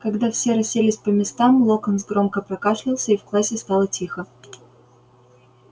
когда все расселись по местам локонс громко прокашлялся и в классе стало тихо